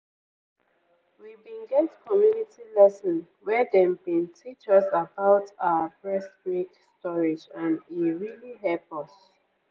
we bin get community lesson where dem bin teach us about ahh breast milk storage and e really hep us.